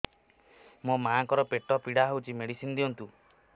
ମୋ ମାଆଙ୍କର ପେଟ ପୀଡା ହଉଛି ମେଡିସିନ ଦିଅନ୍ତୁ